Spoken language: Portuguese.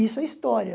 Isso é história.